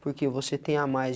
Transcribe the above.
Porque você tem a mais.